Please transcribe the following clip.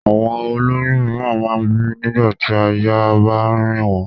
Àwọn ó lóyún mìíràn máa ń bì nígbà tí àyà bá ń rìn wọ́n.